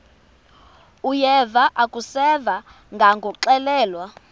uyeva akuseva ngakuxelelwa